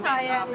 Sizin sayənizdə.